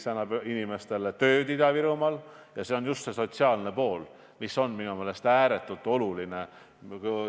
See annab Ida-Virumaa inimestele tööd – see on just see sotsiaalne pool, mis minu meelest on ääretult oluline.